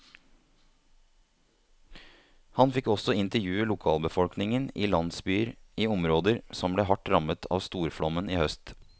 Han fikk også intervjue lokalbefolkningen i landsbyer i områder som ble hardt rammet av storflommen i høst.